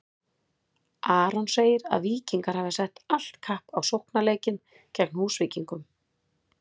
Aron segir að Víkingar hafi sett allt kapp á sóknarleikinn gegn Húsvíkingum.